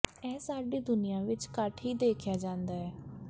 ਇਹ ਸਾਡੀ ਦੁਨੀਆਂ ਵਿੱਚ ਘੱਟ ਹੀ ਦੇਖਿਆ ਜਾਂਦਾ ਹੈ